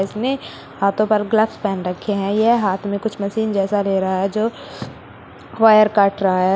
उसने हाथों पर ग्लास पहन रखे हैं यह हाथ में कुछ मशीन जैसा ले रहा है जो वायर कट रहा है।